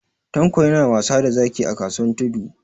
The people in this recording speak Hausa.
Tanko yana wasa da zaki a kasuwan Tudu.